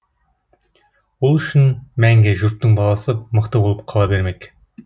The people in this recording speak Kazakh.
ол үшін мәңгі жұрттың баласы мықты болып қала бермек